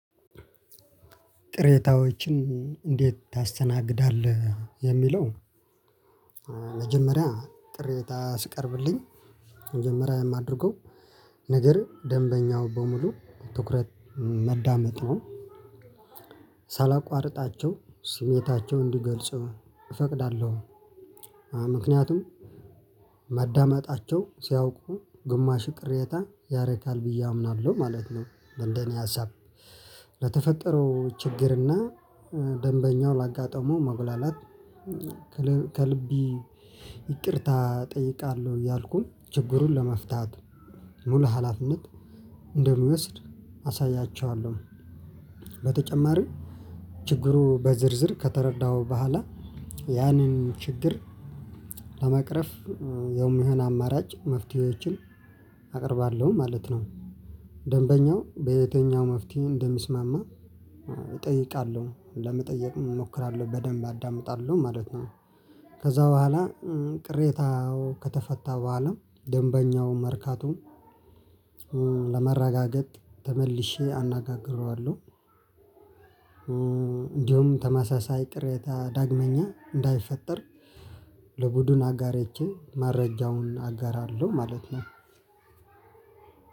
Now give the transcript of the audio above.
ቅሬታዎችን እንዴት ታስተናግዳለህ የሚለው? መጀመሪያ ቅሬታ ሲቀርብልኝ መጀመሪያ የማደርገው ነገር ደንበኛውን በሙሉ ትኩረት ማዳመጥ ነው። ሳላቋርጣቸው ስሜታቸውን እንዲገልጹ እፈቅዳለሁ። ምንክንያቱም ማዳመጣቸው ሲያውቁ ግማሹ ቅሬታ ያረካል ብዬ አምናለው ማለት ነው። እንደ እኔ ሀሳብ ለተፈጠረው ችግር እና ደንበኛው ላጋጠመው መጉላላት ከልብ ይቅርታ እጠይቃለሁ እያልኩኝ ችግሩን ለመፍታት ሙሉ ሀላፊነት እንደምወስድ አሳያቸዋለሁ። በተጨማሪም ችግሩ በዝርዝር ከተረዳሁ በኋላ ያንን ችግር ለመቅረፍ የሚሆን አማራጭ መፍትሄዎችን አቀርባለሁ ማለት ነው። ደንበኛው በየትኛው መፍትሄ እንደሚስማማ እጠይቃለሁ ለመጠየቅም እሞክራለሁ በደንብ አዳምጣለሁ ማለት ነው። ከዛ በኋላ ቅሬታው ከተፈታ በኋላ ደንበኛውን መርካቱን ለማረጋገጥ ተመልሼ አነጋግረዋለሁ። እንዲሁም ተመሳሳይ ቅሬታ ዳግመኛ እንዳይፈጠር ለቡድን አጋሮቼ መረጃውን አጋራለው ማለት ነው።